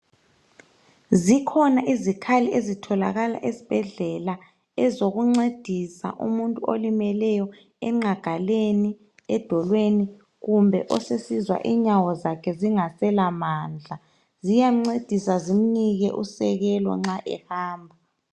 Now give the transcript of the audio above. Zikhona izikhali ezitholakala esibhedlela ezokuncedisa umuntu olimeleyo enqagaleni, edolweni kumbe osesizwa inyawo zakhe zingaselamandla ziyamncedisa zimnike usekelo nxa ehamba